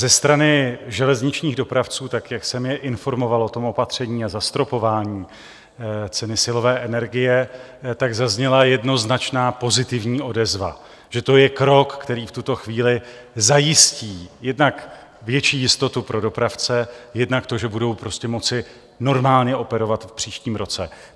Ze strany železničních dopravců, tak jak jsem je informoval o tom opatření a zastropování ceny silové energie, tak zazněla jednoznačná pozitivní odezva, že to je krok, který v tuto chvíli zajistí jednak větší jistotu pro dopravce, jednak to, že budou prostě moci normálně operovat v příštím roce.